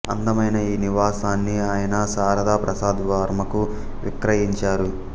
అందమైన ఈ నివాసాన్ని ఆయన శారద ప్రసాద్ వర్మకు విక్రయించారు